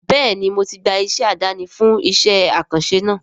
Bẹ́ẹ̀ni mo ti gba oníṣẹ́ àdáni fún iṣẹ́ àkànṣe náà